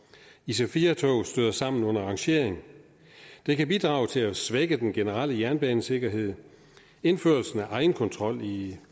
ic4 tog støder sammen under rangering det kan bidrage til at svække den generelle jernbanesikkerhed indførelsen af egenkontrol i